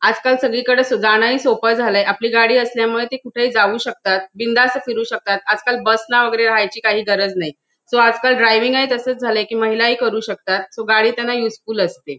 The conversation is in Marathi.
आजकाल सगळीकडे जाणं ही सोपं झालं. आपली गाडी असल्यामुळे ते कुठे जाऊ शकतात बिंदास फिरू शकतात आजकाल बस ना वगैरे राहायची काही गरज नाही. सो आजकाल ड्रायव्हिंगही तसच झालंय की महिलाही करू शकतात सो गाडी त्यांना युजफुल असते.